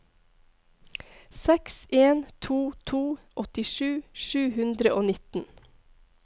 seks en to to åttisju sju hundre og nitten